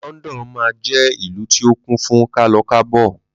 London máa jẹ́ ìlú tí o kún fún kálọ kábọ̀